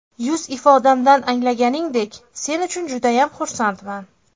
Yuz ifodamdan anglaganingdek, sen uchun judayam xursandman.